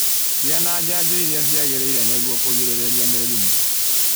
Gĩa na janjo iria ciagĩrĩire nĩguo kurigĩrĩria mirimu